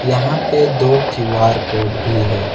यहां पे दो क्यू_आर कोड भी है।